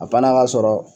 A fana ka sɔrɔ